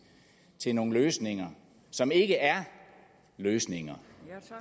til nogle løsninger som ikke er løsninger